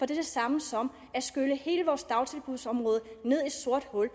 det samme som at skylle hele vores dagtilbudsområde ned i et sort hul